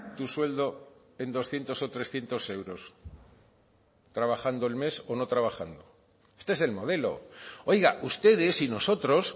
tu sueldo en doscientos o trescientos euros trabajando el mes o no trabajando este es el modelo oiga ustedes y nosotros